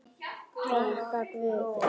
Þakka guði.